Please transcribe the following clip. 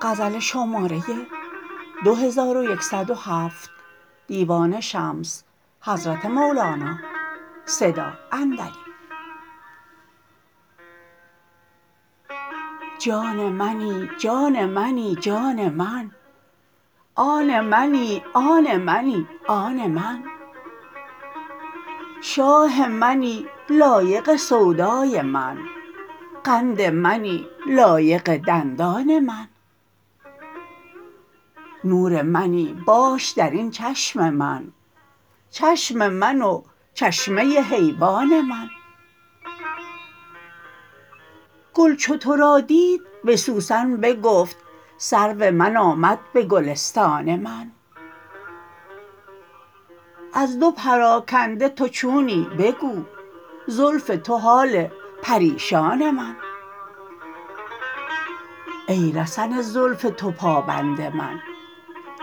جان منی جان منی جان من آن منی آن منی آن من شاه منی لایق سودای من قند منی لایق دندان من نور منی باش در این چشم من چشم من و چشمه حیوان من گل چو تو را دید به سوسن بگفت سرو من آمد به گلستان من از دو پراکنده تو چونی بگو زلف تو و حال پریشان من ای رسن زلف تو پابند من